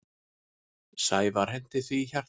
Sævar henti því hjarta.